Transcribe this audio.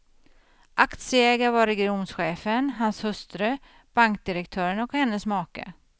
Aktieägare var regionchefen, hans hustru, bankdirektören och hennes make.